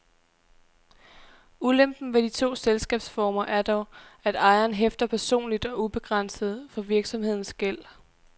Ulempen ved de to selskabsformer er dog, at ejeren hæfter personligt og ubegrænset for virksomhedens gæld.